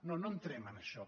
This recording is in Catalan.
no no entrem en això